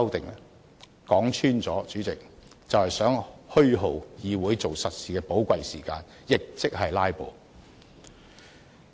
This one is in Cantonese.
主席，說穿了，他們就是想虛耗議會做實事的寶貴時間，亦即是"拉布"。